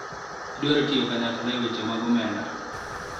idwaro tiyo kanyakla e weche mag omenda